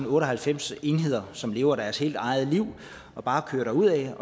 otte og halvfems enheder som lever deres helt eget liv og bare kører derudad